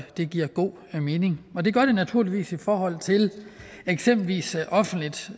det giver god mening og det gør det naturligvis i forhold til eksempelvis offentligt